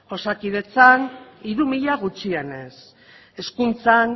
osakidetzan hiru mila gutxienez hezkuntzan